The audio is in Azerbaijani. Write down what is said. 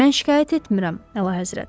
Mən şikayət etmirəm, Əlahəzrət.